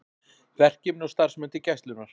Verkefni og starfsmenn til Gæslunnar